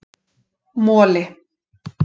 Moli